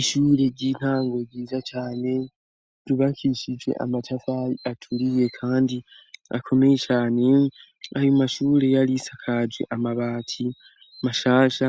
Ishule ry'intango ryiza cane ryubakishije amatari aturiye kandi akomeye cane. Ayo mashure yari isakaje amabati mashasha,